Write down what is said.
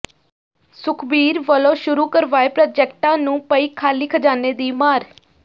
ਸੁਖਬੀਰ ਵੱਲੋਂ ਸ਼ੁਰੂ ਕਰਵਾਏ ਪ੍ਰਾਜੈਕਟਾਂ ਨੂੰ ਪਈ ਖ਼ਾਲੀ ਖ਼ਜ਼ਾਨੇ ਦੀ ਮਾਰ